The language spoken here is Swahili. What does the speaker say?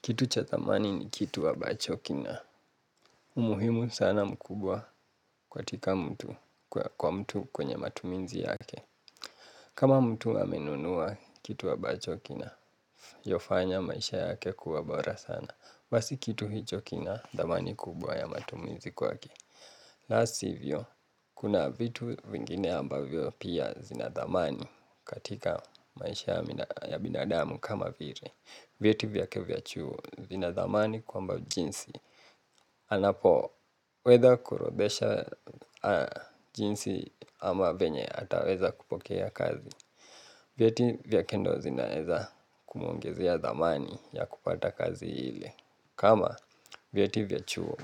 Kitu cha thamani ni kitu ambacho kina umuhimu sana mkubwa katika kwa mtu kwenye matumizi yake. Kama mtu amenunuwa kitu wa ambacho kina yofanya maisha yake kuwa bora sana basi kitu hicho kina thamani kubwa ya matumizi kwake. La sivyo, kuna vitu vingine ambavyo pia zina thamani. Katika maisha ya binadamu kama vile vieti vyake vya chuo vina thamani kwamba jinsi anapo weza kuorodhesha jinsi ama venye ataweza kupokea kazi. Vyeti vyake ndo zinaeza kumuongezea thamani ya kupata kazi ile. Kama vyeti vya chuo